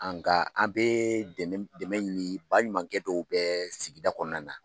Nka an bɛ dɛmɛ ɲini baɲumankɛ dɔw bɛ sigida kɔnɔna na